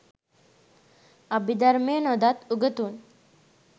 අභිධර්මය නොදත් උගතුන්